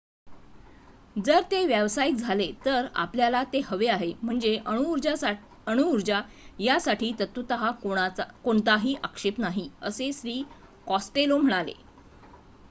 "" जर ते व्यावसायिक झाले तर आपल्याला ते हवे आहे. म्हणजे अणुऊर्जा यासाठी तत्वत: कोणताही आक्षेप नाही" असे श्री. कॉस्टेलो म्हणाले.